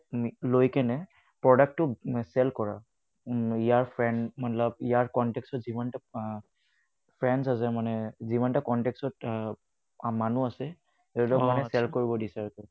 লৈ পিনে products তো sale কৰা ইয়াৰ friend মাটলব ইয়াৰ contacts ত যিমান বিলাক আহ friends আছে মানে যিমানটা contacts আহ ত মানুহ আছে তাহাতক share কৰিব দিছে মানে